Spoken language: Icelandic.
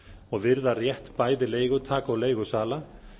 og virða rétt bæði leigutaka og leigusala